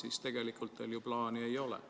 Aga tegelikult teil ju plaani ei ole.